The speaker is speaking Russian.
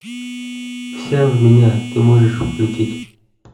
вся в меня ты можешь включить